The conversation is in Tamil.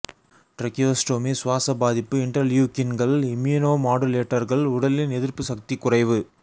ட்ரக்கியோஸ்டோமி சுவாச பாதிப்பு இண்டர்லியூக்கின்கள் இம்யூனோமாடுலேட்டர்கள் உடலின் எதிர்ப்பு சக்தி குறைவு